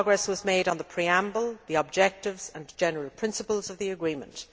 Good progress was made on the preamble, the objectives and general principles of the agreement.